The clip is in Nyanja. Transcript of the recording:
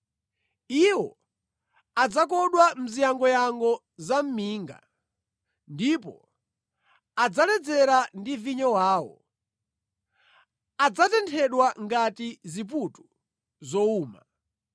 Iwo adzakodwa mu ziyangoyango za minga ndipo adzaledzera ndi vinyo wawo; adzatenthedwa ngati ziputu zowuma.